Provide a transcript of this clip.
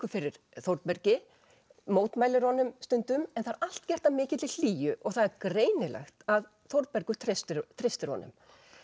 fyrir Þórbergi mótmælir honum stundum en það er allt gert af mikilli hlýju og það er greinilegt að Þórbergur treystir treystir honum